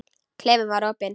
Klefinn var opinn.